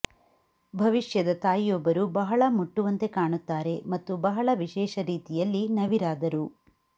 ಭವಿಷ್ಯದ ತಾಯಿಯೊಬ್ಬರು ಬಹಳ ಮುಟ್ಟುವಂತೆ ಕಾಣುತ್ತಾರೆ ಮತ್ತು ಬಹಳ ವಿಶೇಷ ರೀತಿಯಲ್ಲಿ ನವಿರಾದರು